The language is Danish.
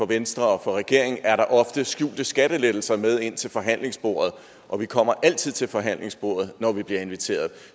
venstre og regeringen ofte har skjulte skattelettelser med ind til forhandlingsbordet og vi kommer altid til forhandlingsbordet når vi bliver inviteret